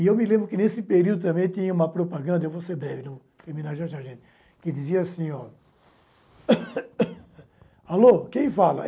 E eu me lembro que, nesse período também, tinha uma propaganda – eu vou ser breve, terminar de achar gente – que dizia assim, ó... Alô, quem fala?